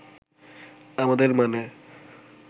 আমাদের মানে